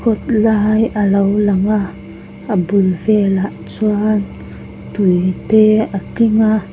kawt lai a lo lang a a bul velah chuan tui te a tling a.